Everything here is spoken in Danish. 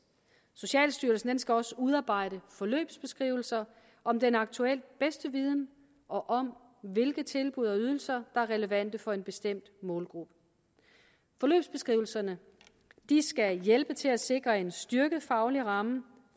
socialstyrelsen skal også udarbejde forløbsbeskrivelser om den aktuelt bedste viden og om hvilke tilbud og ydelser der er relevante for en bestemt målgruppe forløbsbeskrivelserne skal hjælpe til at sikre en styrket faglig ramme